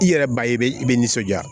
I yɛrɛ ba ye i bɛ i bɛ nisɔndiya